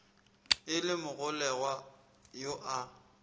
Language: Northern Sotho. e le mogolelwa yo a